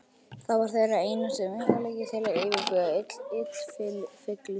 Það var þeirra einasti möguleiki til að yfirbuga illfyglið.